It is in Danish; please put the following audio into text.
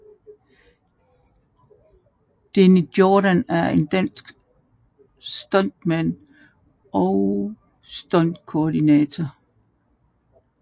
Deni Jordan er en dansk stuntmand og stuntkoordinator